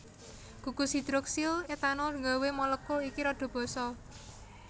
Gugus hidroksil etanol nggawé molekul iki rada basa